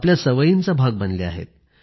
आपल्या सवयींचा भाग बनल्या आहेत